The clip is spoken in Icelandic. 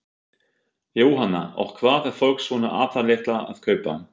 Jóhanna: Og hvað er fólk svona aðallega að kaupa?